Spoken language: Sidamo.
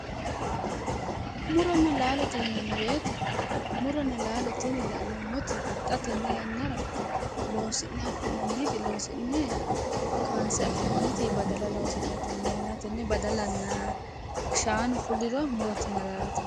Muronna laalote yinanni woyite muronna laalo tini la'neemoti xa tenne yannara loosi'ne afi'naniti loosi'ne kaanise afi'naniti badala loosi'nayi tenne yannara Tenne badalanaa shaanu fuliro murotena laalote yinanni